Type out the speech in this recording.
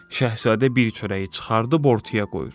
Şahzadə bir çörəyi çıxardıb ortaya qoyur.